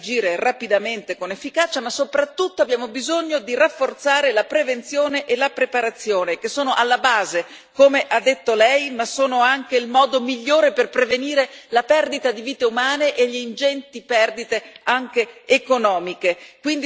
Noi abbiamo bisogno di aumentare la capacità di agire rapidamente e con efficacia, ma soprattutto abbiamo bisogno di rafforzare la prevenzione e la preparazione, che sono alla base, come ha detto Lei, ma sono anche il modo migliore per prevenire la perdita di vite umane e le